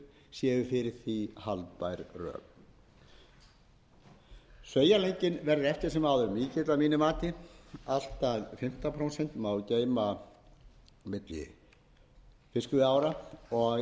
fyrir því haldbær rök sveigjanleikinn verðu eftir sem áður mikill að mínu mati allt að fimmtán prósent geymd og í gildi eru ákvæði elleftu greinar